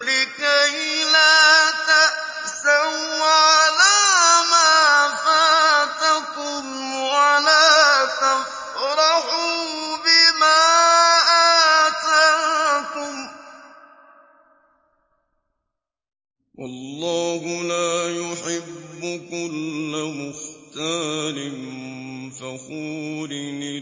لِّكَيْلَا تَأْسَوْا عَلَىٰ مَا فَاتَكُمْ وَلَا تَفْرَحُوا بِمَا آتَاكُمْ ۗ وَاللَّهُ لَا يُحِبُّ كُلَّ مُخْتَالٍ فَخُورٍ